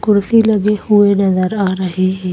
कुर्सी लगे हुए नजर आ रहे हैं।